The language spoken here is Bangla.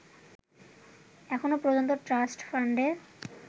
এখনও পর্যন্ত ট্রাষ্ট ফান্ডে